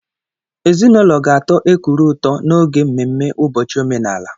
Ezinụlọ ga-atọ Ekuru ụtọ n'oge mmemme ụbọchị omenala.